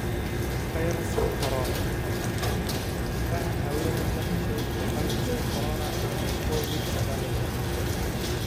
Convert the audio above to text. Fayraska Corona: Fahan haweeneyda heshay fayraska corona ka hor Covid-19